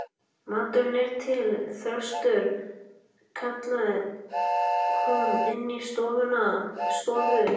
Maturinn er til, Þröstur, kallaði hún inní stofu.